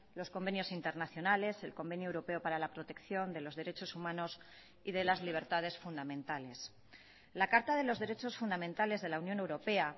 los convenios internacionales el convenio europeo para la protección de los derechos humanos y de las libertades fundamentales la carta de los derechos fundamentales de la unión europea